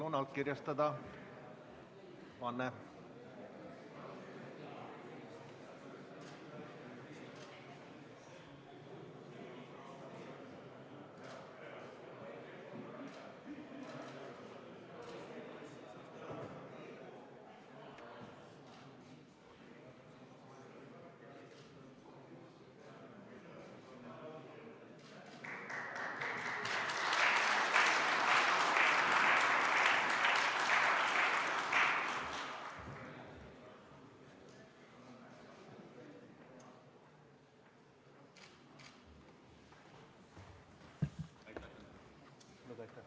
Palun allkirjastada vanne!